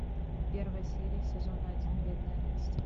первая серия сезона один бедная настя